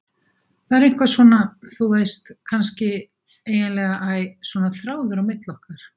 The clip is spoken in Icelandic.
Það er eitthvað svona, þú veist, kannski, eiginlega æ, svona þráður á milli okkar.